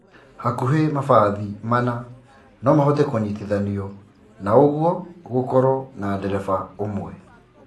Hahuhi mabathi mana no mahote kũnyitithanio na ũguo gũkorwo na dereba ũmwe